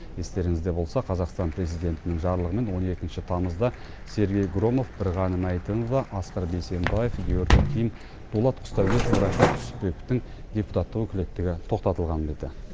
естеріңізде болса қазақстан президентінің жарлығымен он екінші тамызда сергей громов бірғаным әйтімова асқар бейсенбаев георгий ким дулат құсдәулетов рашид түсіпбековтің депутаттық өкілеттігі тоқтатылған беті